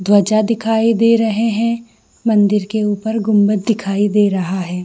ध्वजा दिखाई दे रहे हैं मंदिर के ऊपर गुम्बद दिखाई दे रहा है।